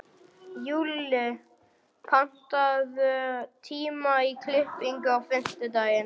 Júlli, pantaðu tíma í klippingu á fimmtudaginn.